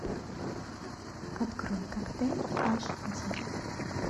открой коктейль аш ди